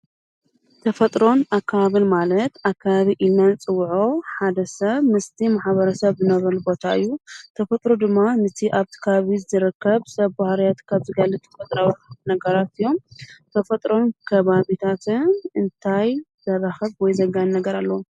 ተፈጥሮን ኣከባቢን ማለት ኣከባቢ ኢልና እንፅወዖ ሓደ ሰብ ምስቲ ማሕበረ ሰብ ዝነብረሉ ቦታ እዩ፡፡ ተፈጥሮ ድማ ነቲ ኣብቲ ከባቢ ዝረከብ ሰብ ባህርያት ካብ ዝገልፅ ተፈጥራዊ ነገራት እዮም፡፡ ተፈጥሮን ከባቢታትን እንታይ ዘራክብ ወይ ዘጋንይ ነገር ኣለዎም?